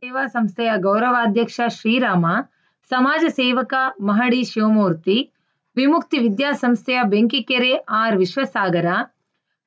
ಸೇವಾ ಸಂಸ್ಥೆಯ ಗೌರವಾಧ್ಯಕ್ಷ ಶ್ರೀರಾಮ ಸಮಾಜ ಸೇವಕ ಮಹಡಿ ಶಿವಮೂರ್ತಿ ವಿಮುಕ್ತಿ ವಿದ್ಯಾ ಸಂಸ್ಥೆಯ ಬೆಂಕಿಕೆರೆ ಆರ್‌ವಿಶ್ವಸಾಗರ